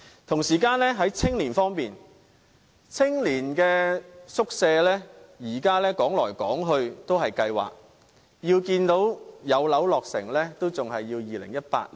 同時，在青年方面，青年宿舍至今仍然是在計劃當中，要看到宿舍落成，便要等到2018年。